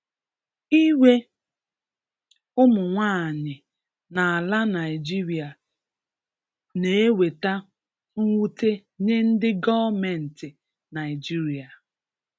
Ire ụmụnwaanyị n'ala Naịjirịa n'eweta nwute nye ndị gọọmentị Naịjirịa.